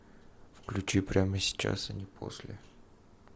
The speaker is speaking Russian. включи прямо сейчас а не после